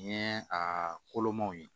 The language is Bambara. Ni ye a kolomanw ye